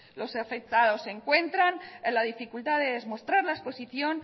los afectados encuentran la dificultad de demostrar la exposición